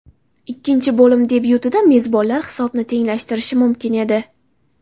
Ikkinchi bo‘lim debyutida mezbonlar hisobni tenglashtirishi mumkin edi.